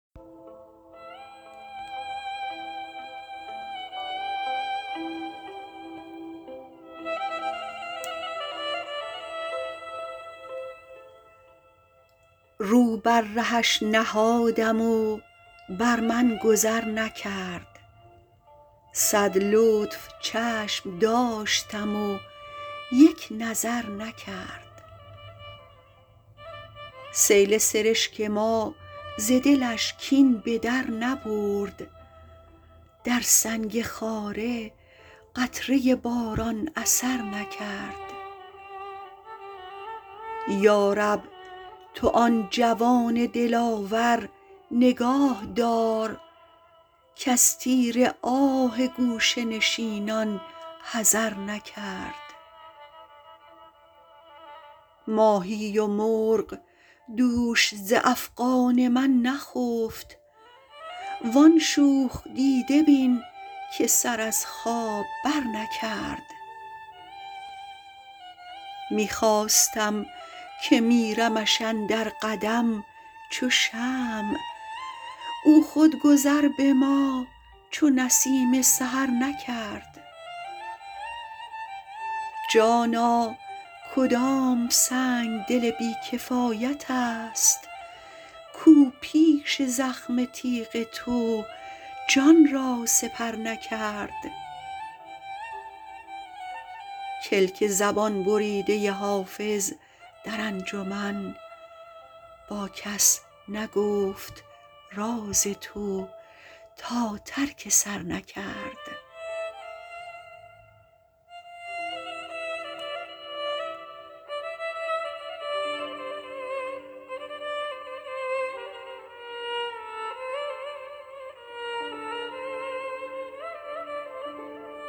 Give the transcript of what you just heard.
رو بر رهش نهادم و بر من گذر نکرد صد لطف چشم داشتم و یک نظر نکرد سیل سرشک ما ز دلش کین به در نبرد در سنگ خاره قطره باران اثر نکرد یا رب تو آن جوان دلاور نگاه دار کز تیر آه گوشه نشینان حذر نکرد ماهی و مرغ دوش ز افغان من نخفت وان شوخ دیده بین که سر از خواب برنکرد می خواستم که میرمش اندر قدم چو شمع او خود گذر به ما چو نسیم سحر نکرد جانا کدام سنگدل بی کفایت است کاو پیش زخم تیغ تو جان را سپر نکرد کلک زبان بریده حافظ در انجمن با کس نگفت راز تو تا ترک سر نکرد